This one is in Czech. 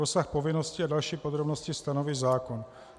Rozsah povinností a další podrobnosti stanoví zákon.